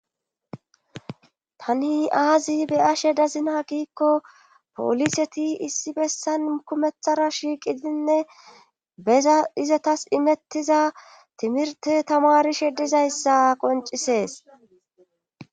tani aazi be'ashe dazina giikko poliseti issi bessan kumethara shiiqidinne beza izatas imettiza timirte tamarishedizayssa qoncisees